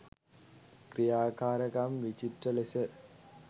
ක්‍රියාකාරකම් විචිත්‍ර ලෙස